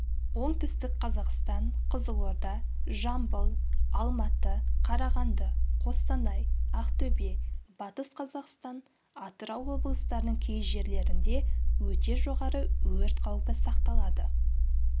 оңтүстік қазақстан қызылорда жамбыл алматы қарағанды қостанай ақтөбе батыс қазақстан атырау облыстарының кей жерлерінде өте жоғары өрт қаупі сақталады